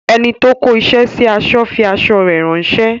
Enito kó isẹ sí aṣọ fi aṣọ rè ránsẹ́